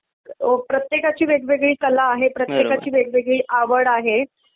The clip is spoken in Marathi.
अ प्रत्येकाची वेगवेगळी कला आहे प्रत्येकाची वेवेगळी आवड आहे .